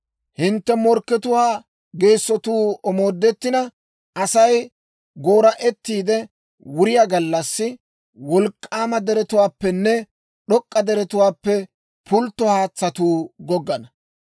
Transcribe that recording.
Hintte morkkatuwaa geessotuu omoodettina, Asay goora'ettiide wuriyaa gallassi, wolk'k'aama deretuwaappenne d'ok'k'a deretuwaappe pultto haatsatuu goggana.